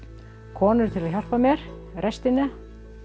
konur til að hjálpa mér í restina